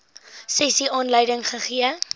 sessie aanleiding gegee